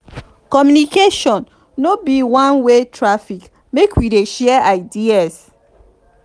communication no be one-way traffic make we dey share ideas.